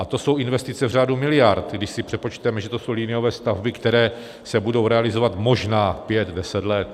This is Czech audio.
A to jsou investice v řádu miliard, když si přepočteme, že to jsou liniové stavby, které se budou realizovat možná pět deset let.